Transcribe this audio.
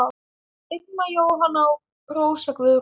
Irma Jóhanna og Rósa Guðrún.